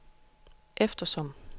eftersom